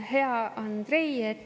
Hea Andrei!